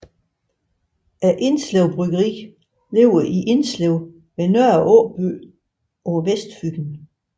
Indslev Bryggeri ligger i Indslev ved Nørre Aaby på Vestfyn